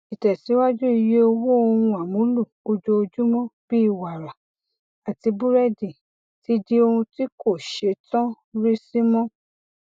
ìtẹsíwájú iye owó ohun amúlò ojoojúmọ bíi wara àti burẹdì ti di ohun tí kò ṣetán rísí mọ